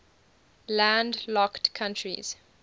landlocked countries